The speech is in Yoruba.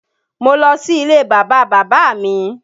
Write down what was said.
Mo lọ sí ilé Bàbá bàbá mi